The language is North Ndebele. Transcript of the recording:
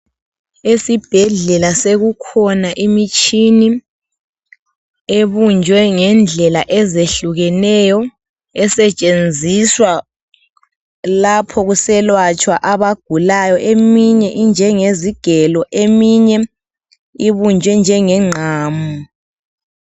Esibhedlela sokukhona imitshini, ebunjwe ngendlela ezehlukeneyo esetshenziswa lapho kuselatshwa abagulayo. Eminye injengezigelo eminye ibunjwe njenge ngqamu.